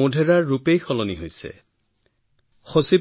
মোধেৰা গাঁৱৰ গৌৰৱ বহুগুণে বৃদ্ধি পাইছে